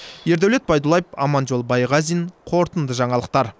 ердәулет байдуллаев аманжол байғазин қорытынды жаңалықтар